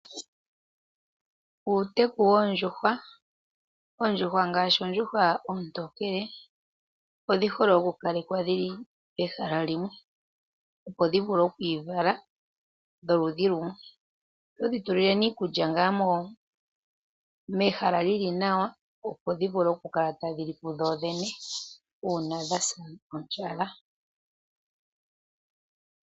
Uuteku woondjuhwa. Oondjuhwa ngaashi oondjuhwa oontokele odhi hole oku kalekwa dhili pehala limwe, opo dhi vule okwii vala dho ludhi lumwe. Oto dhi tulile iikulya ngaa mehala djili nawa, opo dhi vule oku kala tadhi li ku dhoodhene uuna dha sa ondjala.